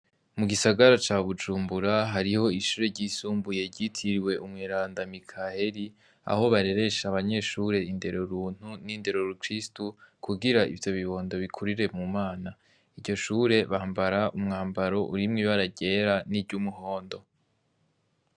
Mugisagara ca bujumbura hariyo ishuri ryitiriwe umweranda Mikaheri aho bareresha abanyeshure indero runtu n'indero rukirisu kugira ivyobibondo bikurire mumana. Iryoshure bambara umwambaro urimwo ibara ryera n'iryumuhondo.